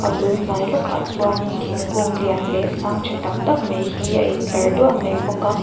a bul hnai lawkah chuanin thingkung lian leh sang tha tak tak mai hi a in tlar duah mai bawk a.